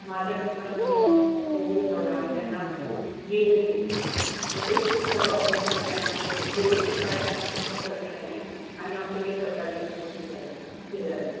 माझ्या mister राना जेव्हा covid झाला आणि त्यांना गेले ते मग ते हे सुरु झालं august मध्ये त्यांना covid covid पन काय त्यांना फक्त सर्दी झाली आणि आमच्या कडे सरकारी हॉस्पिटल आहे शेजारी